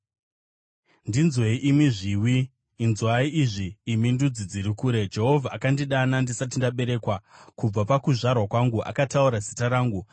Ndinzwei, imi zviwi; inzwai izvi, imi ndudzi dziri kure; Jehovha akandidana ndisati ndaberekwa; kubva pakuzvarwa kwangu akataura zita rangu.